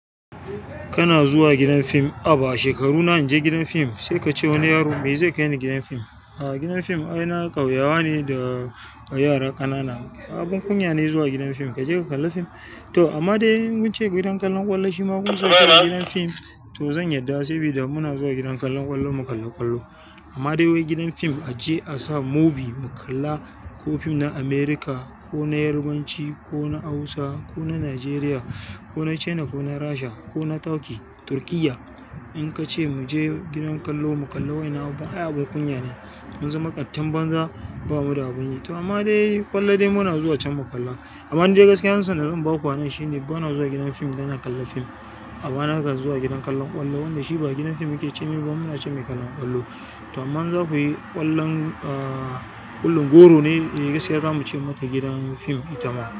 Kana zuwa gidan fim. Haba shekaru na in je gidan fim, sai kace wani yaro? Me zai kai ni gidan fim. A'a gidan fim ai na ƙauyawa ne, da yara ƙanana. Abin kunya ne zuwa gidan fim, kaje ka kalla fim. To amma dai in mun ce gidan kallon ƙwallo shi ma mun zo shi gidan fim, to zan yarda sabida muna zuwa gidan kallon ƙwallo mu kalli ƙwallo. Amma dai wai gidan fim a je a sa movie mu kalla ko fim na America, ko na yarbanci, ko na Hausa, ko na Nigeria, ko na China ko na Rasha ko na Turkey, Turkiyya. In ka ce mu je gidan kallo mu kulli waƴannan abubuwan, ai abun kunya ne. Mun zama ƙatin banza ba mu da abun yi. To amma dai ƙwallon dai muna zuwa can mu kalla. Amma dai gaskiya amsa da zan ba ku anan shine bana zuwa gidan fim idan dan na kallon fim. Amma nakan zuwa gidan kallon ƙwallon, wannan shi ba gidan film muke ce mai ba, muna ce mai gidan ƙwallon ƙwallon. To amma za ku yi ƙwallon, ah, ƙullon goro ne, gaskiya zamu ce mata gidan fim ita ma.